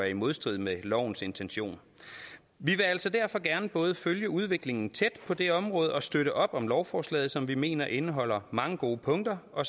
i modstrid med lovens intention vi vil altså derfor gerne både følge udviklingen på det område tæt og støtte op om lovforslaget som vi mener indeholder mange gode punkter og